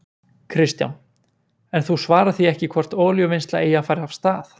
Kristján: En þú svarar því ekki hvort olíuvinnsla eigi að fara af stað?